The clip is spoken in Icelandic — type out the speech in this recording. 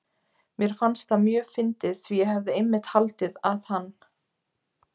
Mér fannst það mjög fyndið því ég hefði einmitt haldið að hann